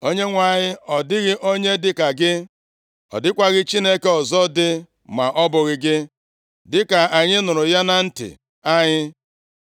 “ Onyenwe anyị, ọ dịghị onye dịka gị, ọ dịkwaghị Chineke ọzọ dị ma ọ bụghị gị, dịka anyị nụrụ ya na ntị anyị.